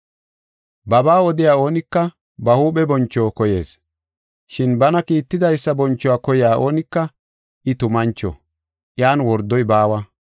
Babaa odiya oonika ba huuphe boncho koyees. Shin bana kiittidaysa bonchuwa koyiya oonika I tumancho; iyan wordoy baawa.